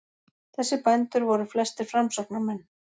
Þessir bændur voru flestir framsóknarmenn.